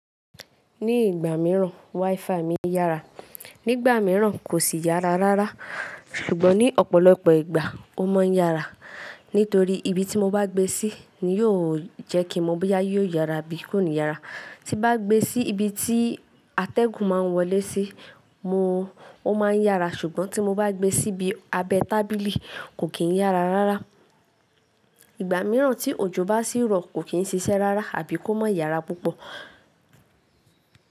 Ní ìgbà mìíràn, WiFi mi yára, nígbà mìíràn kò sì yára rárá, ṣùgbọ́n ní ọ̀pọ̀lọpọ̀ ìgbà ó mọ́ yára. Nítorí ibi tí mo bá gbé sí ni yóò jẹ́ kí mo mọ̀ bí yóò yára bí kò ní yára. Tín bá gbé sí ibi tí atẹ́gùn ma ń wọlé sí, mo, ó ma ń yára ṣùgbọ́n tí mo bá gbé síbi abẹ́ tábìlì kò kìn yára rárá. Ìgbà mìíràn tí òjò bá sí rọ̀ kò kìn ṣiṣẹ́ rárá àbí kó má yára púpọ̀.